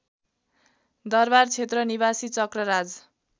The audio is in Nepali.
दरबारक्षेत्र निवासी चक्रराज